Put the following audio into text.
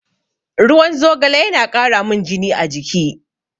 Ruwan zogale yana ƙaramin jini a jiki.